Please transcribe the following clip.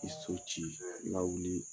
I so ci i lawili